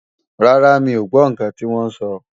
Rárá, mi ò gbọ́ ǹkan tí wọ́n sọ